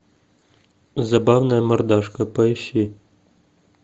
забавная мордашка поищи